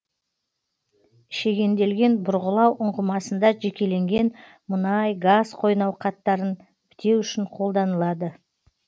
шегенделген бұрғылау ұңғымасында жекеленген мұнай газ қойнауқаттарын бітеу үшін қолданылады